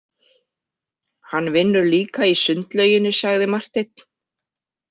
Hann vinnur líka í sundlauginni, sagði Marteinn.